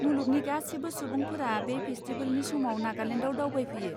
मुलुगनि गासिबो सुबुंफोरा बे फेस्टिबेलनि समाव नागालेन्डाव दावबायफैयो।